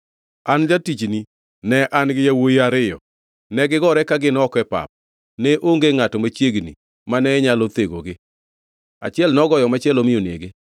An jatichni, ne an gi yawuowi ariyo. Negigore ka gin oko e pap, ne onge ngʼato machiegni mane nyalo thegogi. Achiel nogoyo machielo mi onege.